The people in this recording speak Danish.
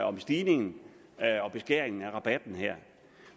om stigningen og beskæringen af rabatten her